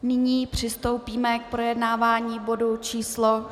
Nyní přistoupíme k projednávání bodu číslo